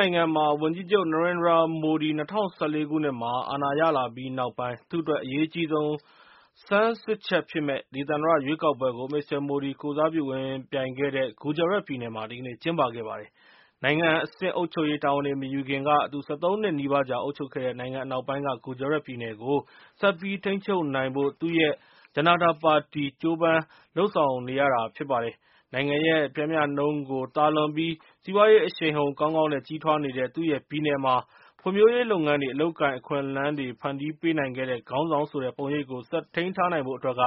နိုင်ငံမှာ ဝန်ကြီးချုပ် Narendra Modi ၂၀၁၄ ခုနှစ်မှာ အာဏာရလာပြီးနောက်ပိုင်း သူ့အတွက် အရေးအကြီးဆုံး စမ်းစစ်ချက်ဖြစ်မယ့် ဒေသန္တရရွေးကောက်ပွဲကို Mr. Modi ကိုယ်စားပြု ဝင်ယှဉ်ပြိုင်ခဲ့တဲ့ Gujarat ပြည်နယ်မှာ ဒီကနေ့ကျင်းပခဲ့ပါတယ်။ နိုင်ငံအဆင့်အုပ်ချုပ်ရေး တာဝန်တွေ မယူခင်က သူ ၁၃ နှစ်နီးပါးကြာ အုပ်ချုပ်ခဲ့တဲ့ နိုင်ငံ အနောက်ပိုင်းက Gujarat ပြည်နယ်ကို ဆက်ပြီးထိန်းချုပ်ထားနိုင်ဖို့ သူ့ရဲ့ Janata Party ကြိုးစားပမ်းစား လုပ်ဆောင်နေရတာပါ။ နိုင်ငံရဲ့ ပျမ်းမျှနှုန်းကို သာလွန်ပြီး စီးပွားရေး အရှိန်အဟုန် ကောင်းကောင်းနဲ့ ကြီးထွားနေတဲ့ သူ့ရဲ့ပြည်နယ်မှာ ဖွံ့ဖြိုးရေး လုပ်ငန်းတွေ အလုပ်အကိုင် အခွင့်အလမ်းတွေ ဖန်တီးပေးနိုင်ခဲ့တဲ့ ခေါင်းဆောင်ဆိုတဲ့ ပုံရိပ်ကို ဆက်ထိန်း ထားနိုင်ဖို့ အတွက်က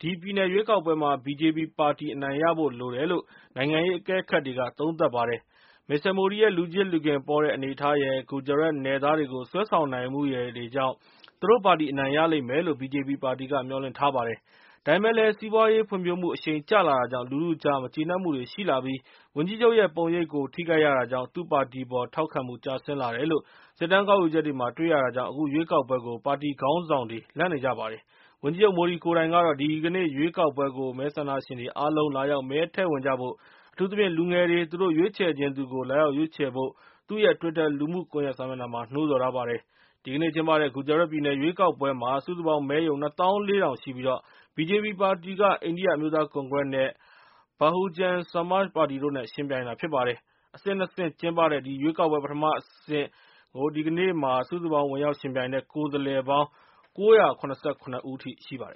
ဒီပြည်နယ်ရွေးကောက်ပွဲမှာ BJP ပါတီ အနိုင်ရဖို့ လိုတယ်လို့ နိုင်ငံရေး အကဲခတ်တွေက သုံးသပ်ပါတယ်။ Mr. Modi ရဲ့ လူချစ်လူခင်ပေါတဲ့ အနေအထားရယ် Gujarat နယ်သားတွေကို ဆွဲဆောင် နိုင်မှုရယ်တွေကြောင့် သူတို့ပါတီ အနိုင်ရလိမ့်မယ်လို့ BJP ပါတီက မျှော်လင့်ထားပါတယ်။ ဒါပေမဲ့လည်း စီးပွားရေးု ဖွံ့ဖြိုးမှု အရှိန်ကျလာတာကြောင့် လူထုအကြား မကျေနပ်မှုတွေ ရှိလာပြီး ဝန်ကြီးချုပ်ရဲ့ ပုံရိပ်ကို ထိခိုက်ရတာကြောင့် သူ့ပါတီပေါ် ထောက်ခံမှု ကျဆင်း လာတယ်လို့ စစ်တမ်းကောက်ယူ ချက်တွေမှာ တွေ့ရတာကြောင့် အခုရွေးကောက်ပွဲကို ပါတီခေါင်းဆောင်တွေ လန့်နေကြပါတယ်။ ဝန်ကြီးချုပ် Modi ကိုယ်တိုင်ကတော့ ဒီကနေ့ ရွေးကောက်ပွဲကို မဲဆန္ဒရှင် တွေအားလုံး လာရောက် မဲထည့်ဝင်ကြဖို့၊ အထူးသဖြင့် လူငယ်တွေ သူတို့ရွေးချယ် ချင်သူကို လာရောက်ရွေးချယ်ဖို့ သူ့ရဲ့ twitter လူမှု ကွန်ယက် စာမျက်နှာမှာ နှိုးဆော်ထားပါတယ်။ ဒီကနေ့ကျင်းပတဲ့ Gujarat ပြည်နယ် ရွေးကောက်ပွဲမှာ စုစုပေါင်းမဲရုံ ၂ သောင်း ၄ ထောင် ရှိပြီး BJP ပါတီက အိန္ဒီယ အမျိုးသားကွန်ကရက် နဲ့ Bahujan Samaj ပါတီတို့နဲ့ ယှဉ်ပြိုင်တာ ဖြစ်ပါတယ်။ အဆင့် ၂ ဆင့် ကျင်းပတဲ့ ဒီရွေးကောက်ပွဲ ပထမအဆင့် ဒီကနေ့မှာ စုစုပေါင်း ဝင်ရောက်ယှဉ်ပြိုင်တဲ့ ကိုယ်စားလှယ်လောင်း ၉၇၇ ဦးရှိပါတယ်